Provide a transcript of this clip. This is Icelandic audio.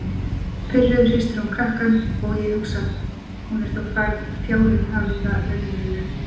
Pirruð hristir hún krakkann og ég hugsa: Hún er þó fjárinn hafi það raunveruleg.